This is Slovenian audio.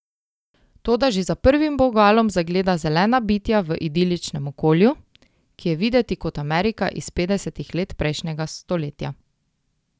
Toda že za prvim vogalom zagleda zelena bitja v idiličnem okolju, ki je videti kot Amerika iz petdesetih let prejšnjega stoletja.